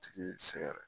Tigi ye sɛgɛrɛ